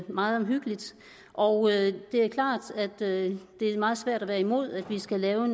meget omhyggeligt og det er klart at det er meget svært at være imod at vi skal lave